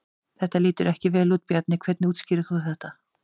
Þetta lítur ekki vel út Bjarni, hvernig útskýrir þú þetta?